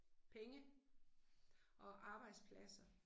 Penge. Og arbejdspladser